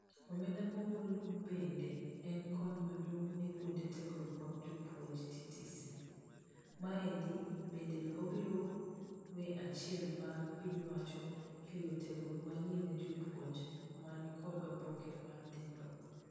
Omenda maogol bende en kony maduong' nekuonde tiegruok mag jopuonje(TTC). Maendi bende obiro we achiel bang' piny owacho kelo tiegruok manyien ne jopuonje manikod oboke mar diploma.